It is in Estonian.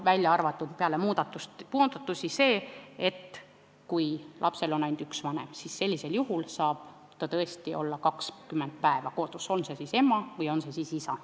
Välja arvatud see, et kui lapsel on ainult üks vanem, siis sellisel juhul saab vanem tõesti olla 20 päeva kodus, on ta siis ema või isa.